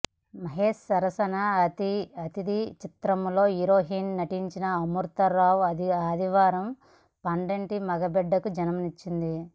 మహేష్ సరసన అతిధి చిత్రంలో హీరోయిన్ నటించిన అమృత రావు ఆదివారం పండంటి మగ బిడ్డకు జన్మనిచ్చింది